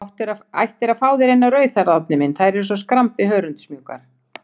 Þú ættir að fá þér eina rauðhærða, Árni minn, þær eru svo skrambi hörundsmjúkar.